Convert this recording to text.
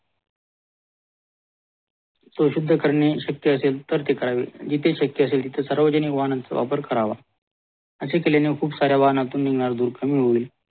शोसुद्धा करणे शक्य असेल तर ते करावे जिथे शक्य असेल तिथे सार्वजनिक वाहनाचा वापर करावा असे केल्याने खूबसाऱ्या वाहनातून निघणारा धूर कमी होईल